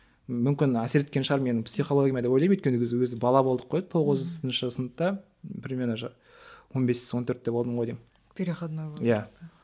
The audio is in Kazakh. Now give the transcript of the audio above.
мүмкін әсер еткен шығар менің психологияма деп ойлаймын өйткені ол кезде бала болдық қой тоғызыншы сыныпта примерно он бес он төртте болдым ғой деймін переходной возраст да